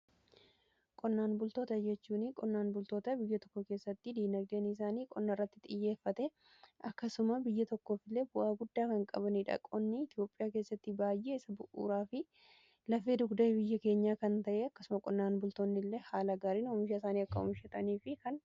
Qonnaan bultoota jechuun qonnaan bultoota biyya tokko keessatti diinagdeeni isaanii qonna irratti xiyyeeffate. Akkasuma biyya tokkoof illee bu'aa guddaa kan qabanii dhaqoonni Itiyoophiyaa keessatti baay'ee isa bu'uuraa fi lafee dugdae biyya keenyaa kan ta'ee akkasuma qonnaan bultoonni illee haala gaariin oomishaa isaanii akka oomishan kan godhu.